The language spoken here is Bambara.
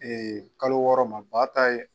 kalo wɔɔrɔ ma ba ta ye